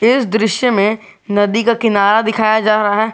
इस दृश्य में नदी का किनारा दिखाया जा रहा है।